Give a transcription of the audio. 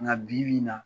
Nka bibi in na